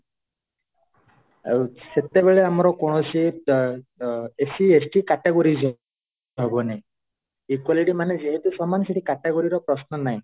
ଆଉ ସେତେବେଳେ ଆମର କୌଣସି SC ST categories ହବନି equality ମାନେ ଯେହେତୁ ସମାନ ସେଠି category ର ପ୍ରଶ୍ନ ନାହିଁ